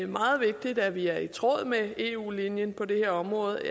meget vigtigt at vi er i tråd med eu linjen på det her område